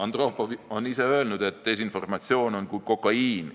Andropov ise ütles: "Desinformatsioon on kui kokaiin.